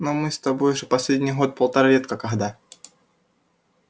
но мы с тобой же последний год-полтора редко когда